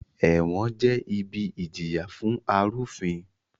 Ẹ̀wọ̀n jẹ́ ibi ìjìyà fún arúfin